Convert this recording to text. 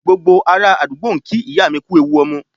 Gbogbo ará àdúgbò ń kí ìyá mi kú ewu ọmọ